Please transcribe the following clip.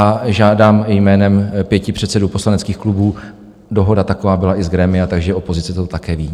A žádám jménem pěti předsedů poslaneckých klubů, dohoda taková byla i z grémia, takže opozice to také ví.